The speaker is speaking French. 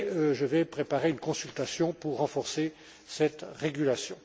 Je vais préparer une consultation pour renforcer cette régulation.